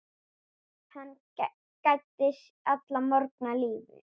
Hann gæddi alla morgna lífi.